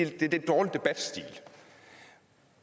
lidt dårlig debatstil